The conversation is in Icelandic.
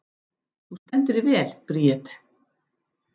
Þú stendur þig vel, Bríet!